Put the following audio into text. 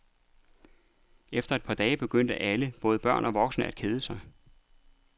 Efter et par dage begyndte alle, både børn og voksne, at kede sig.